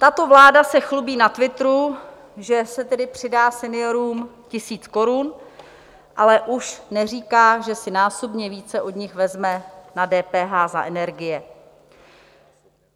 Tato vláda se chlubí na Twitteru, že se tedy přidá seniorům tisíc korun, ale už neříká, že si násobně více od nich vezme na DPH za energie.